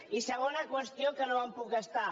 i segona qüestió que no me’n puc estar